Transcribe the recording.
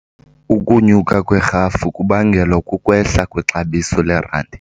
Ukunyuka kwerhafu kubangelwa kukwehla kwexabiso lerandi.